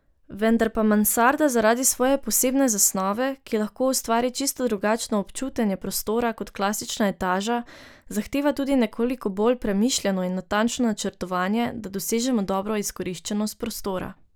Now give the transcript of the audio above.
Vendar pa mansarda zaradi svoje posebne zasnove, ki lahko ustvari čisto drugačno občutenje prostora kot klasična etaža, zahteva tudi nekoliko bolj premišljeno in natančno načrtovanje, da dosežemo dobro izkoriščenost prostora.